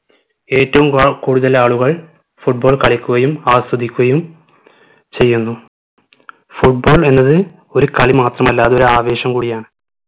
ഏറ്റവും വ കൂടുതൽ ആളുകൾ football കളിക്കുകയും ആസ്വദിക്കുകയും ചെയ്യുന്നു football എന്നത് ഒരു കളി മാത്രമല്ല അത് ഒരു ആവേശം കൂടിയാണ്